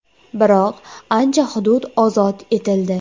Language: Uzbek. Biroq ancha hudud ozod etildi.